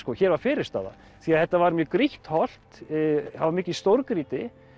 hér var fyrirstaða því þetta var mjög grýtt holt það var mikið stórgrýti